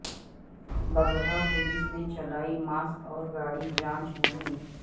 Bagaha police نے چلائی mask اور گاڑی جانچ مہم